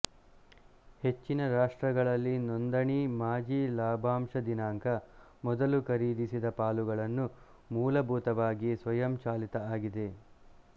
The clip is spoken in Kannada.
ಹೆಚ್ಚಿನ ರಾಷ್ಟ್ರಗಳಲ್ಲಿ ನೋಂದಣಿ ಮಾಜಿ ಲಾಭಾಂಶ ದಿನಾಂಕ ಮೊದಲು ಖರೀದಿಸಿದ ಪಾಲುಗಳನ್ನು ಮೂಲಭೂತವಾಗಿ ಸ್ವಯಂಚಾಲಿತ ಆಗಿದೆ